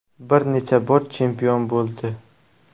Bir necha bor chempion bo‘ldi.